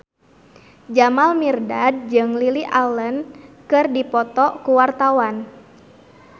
Jamal Mirdad jeung Lily Allen keur dipoto ku wartawan